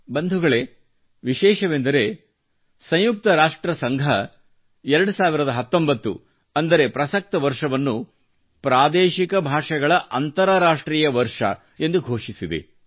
ಬಂಧುಗಳೆ ವಿಶೇಷವೆಂದರೆ ಸಂಯುಕ್ತ ರಾಷ್ಟ್ರ ಸಂಘವು 2019 ಅಂದರೆ ಪ್ರಸಕ್ತ ವರ್ಷವನ್ನು ಪ್ರಾದೇಶಿಕ ಭಾಷೆಗಳ ಅಂತರರಾಷ್ಟ್ರೀಯ ವರ್ಷ ಎಂದು ಘೋಷಿಸಿದೆ